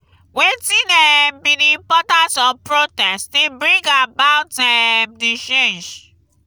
wetin um be di importance of protest in bring about um di change?